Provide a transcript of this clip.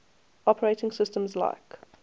operating systems like